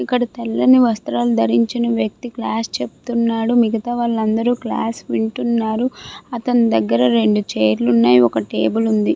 ఇక్కడ తెల్లని వస్త్రాలు దరించిన వ్యక్తి క్లాస్ చెప్తున్నాడు. మిగితా వారందరూ క్లాస్ వింటున్నారు. అతని దగ్గర రెండు చైర్ లు ఒక టేబల్ ఉంది.